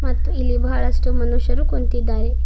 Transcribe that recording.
ಮತ್ತು ಇಲ್ಲಿ ಬಹಳಷ್ಟು ಮನುಷ್ಯರು ಕುಂತಿದ್ದಾರೆ.